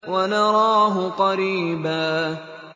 وَنَرَاهُ قَرِيبًا